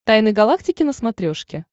тайны галактики на смотрешке